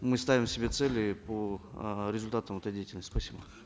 мы ставим себе цели по э результатам этой деятельности спасибо